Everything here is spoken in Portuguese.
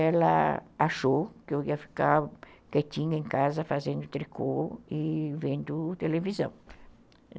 ela achou que eu ia ficar quietinha em casa fazendo tricô e vendo televisão.